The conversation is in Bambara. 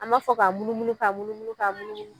An b'a fɔ ka munumunu ka munumunu ka munumunu.